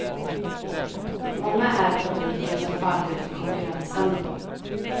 Många är de fabriker som fallit för konkurrensen.